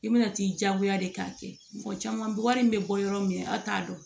I bɛna t'i diyagoya de k'a kɛ mɔgɔ caman bɔgɔ in bɛ bɔ yɔrɔ min na aw t'a dɔn